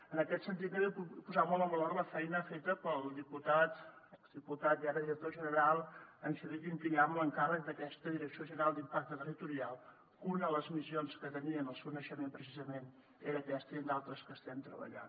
en aquest sentit també vull posar molt en valor la feina feta pel diputat exdiputat i ara director general en xavier quinquillà amb l’encàrrec d’aquesta direcció general d’impacte territorial que una de les missions que tenien en el seu naixement precisament era aquesta i en d’altres que estem treballant